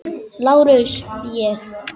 LÁRUS: Ég?